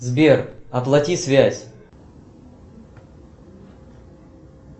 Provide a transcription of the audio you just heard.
сбер оплати связь